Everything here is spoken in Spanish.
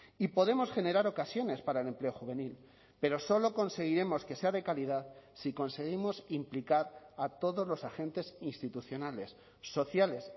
y podemos generar ocasiones para el empleo juvenil pero solo conseguiremos que sea de calidad si conseguimos implicar a todos los agentes institucionales sociales